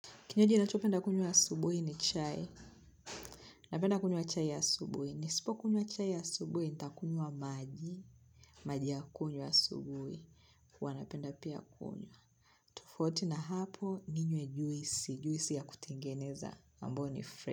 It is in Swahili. Kinywaji ninachopenda kunywa asubui ni chai. Napenda kunywa chai ya asubui. Nisipo kunywa chai asubui, ntakunywa maji. Maji ya kunywa asubui. Ua anapenda pia kunywa. Tofauti na hapo, ninywe juisi. Juisi ya kutengeneza. Ambao ni fre.